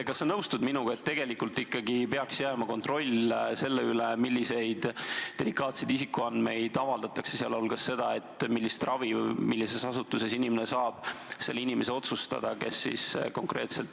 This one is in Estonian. Kas sa nõustud minuga, et tegelikult ikkagi peaks jääma kontroll selle üle, milliseid delikaatseid isikuandmeid avaldatakse, sealhulgas seda, millist ravi millises asutuses inimene saab, tema enda kätte?